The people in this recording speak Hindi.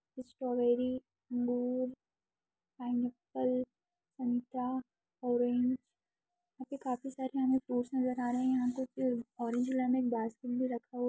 स्ट्रॉबेरी अमरुद पाइनएप्पल संतरा ऑरेंज यहाँ पे काफी सारे हमें फ्रूट्स नज़र आ रहे हैं यहाँ पे ऑरेंज लेने बास्केट भी रखा हुआ --